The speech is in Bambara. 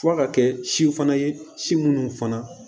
F'a ka kɛ si fana ye si munnu fana